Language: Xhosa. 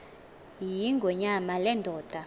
yingonyama le ndoda